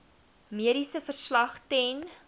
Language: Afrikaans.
mediese verslag ten